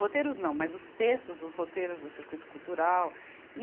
Roteiros não, mas os textos dos roteiros do circuito cultural. e